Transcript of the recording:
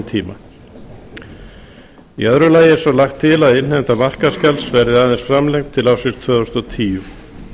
tíma í þriðja lagi er svo lagt til að innheimta markaðsgjalds verði aðeins framlengd til ársins tvö þúsund og tíu